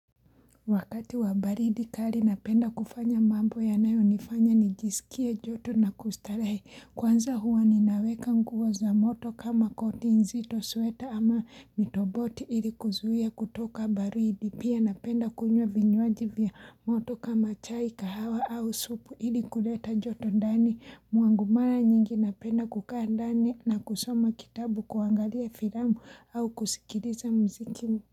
Wakati wa baridi kali napenda kufanya mambo yanayo nifanya nijisikie joto na kustarehe kwanza huwa ninaweka nguo za moto kama koti nzito sweta ama mitoboti ili kuzuia kutoka baridi pia napenda kunywa vinywaji vya moto kama chai kahawa au supu ili kuleta joto ndani mwangu mara nyingi napenda kukaa ndani na kusoma kitabu kuangalia firamu au kusikiriza mziki.